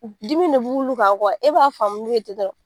Dimi de b'olu kan e b'a faamu